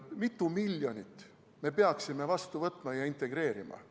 Kui mitu miljonit me peaksime vastu võtma ja integreerima?